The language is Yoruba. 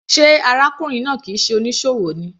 Sé arákùnrin náà kìí ṣe onísòwò ni.